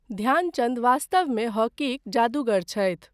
ध्यानचन्द वास्तवमे हॉकीक जादूगर छथि।